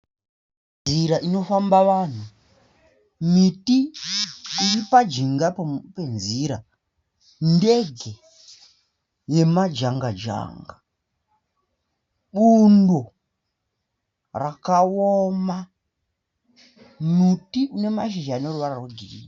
Nzira inofamba vanhu. Miti iri pajinga penzira. Ndege yemajanga janga. Bundo rakaoma. Muti une mashizha noruvara rwegirini.